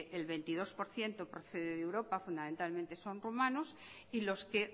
el veintidós por ciento que procede de europa fundamentalmente son rumanos y los que